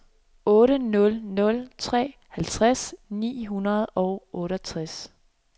otte nul nul tre halvtreds ni hundrede og otteogtres